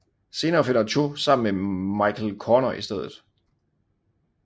Senere finder Cho sammen med Michael Corner i stedet